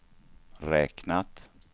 räknat